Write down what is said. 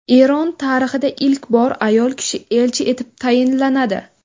Eron tarixida ilk bor ayol kishi elchi etib tayinlanadi.